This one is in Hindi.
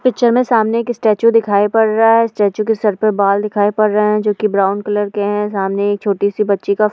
पिक्चर में सामने एक स्टैचू दिखाई पड़ रहा है स्टैचू के सिर पर बाल दिखाई पर रहे हैं जोकि ब्राउन कलर के हैं। सामने एक छोटी-सी बच्ची का --